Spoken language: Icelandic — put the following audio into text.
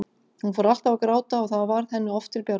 Hún fór alltaf að gráta og það varð henni oft til bjargar.